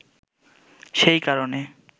সেই কারণে